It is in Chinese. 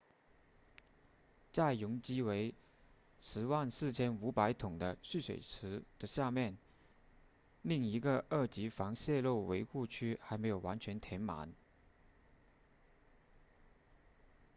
在容积为 104,500 桶的蓄水池的下面另一个二级防泄漏围护区还没有完全填满